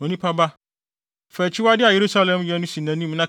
“Onipa ba, fa akyiwade a Yerusalem yɛ no si nʼanim